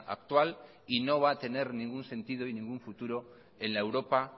actual y no va a tener ningún sentido y ningún futuro